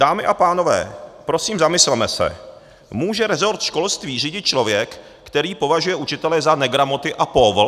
Dámy a pánové, prosím, zamysleme se, může resort školství řídit člověk, který považuje učitele za negramoty a póvl?